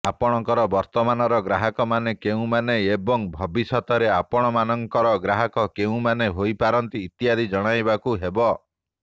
ଆପଣଙ୍କର ବର୍ତ୍ତମାନର ଗ୍ରାହକମାନେ କେଉଁମାନେ ଏବଂ ଭବିଷ୍ୟତରେ ଆପଣଙ୍କର ଗ୍ରାହକ କେଉଁମାନେ ହୋଇପାରନ୍ତି ଇତ୍ୟାଦି ଜଣାଇବାକୁ ହେବ